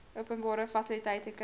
openbare fasiliteite kry